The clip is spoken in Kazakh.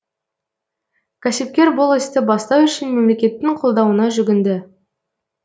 кәсіпкер бұл істі бастау үшін мемлекеттің қолдауына жүгінді